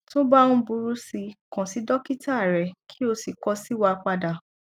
tó bá ń burú si kàn sí dọkítà rẹ kí o sì kọ sí wa padà